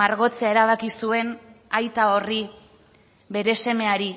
margotzea erabaki zuen aita horri bere semeari